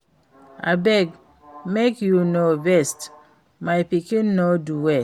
Abeg make you no vex my pikin no do well